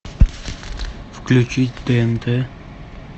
включить тнт